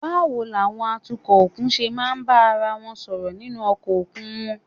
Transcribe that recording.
Báwo làwọn atukọ̀ òkun ṣe máa ń bá ara wọn sọ̀rọ̀ nínú ọkọ̀ òkun wọn?